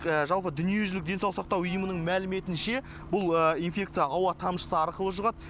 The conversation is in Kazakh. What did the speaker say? жалпы дүниежүзілік денсаулық сақтау ұйымының мәліметінше бұл инфекция ауа тамшысы арқылы жұғад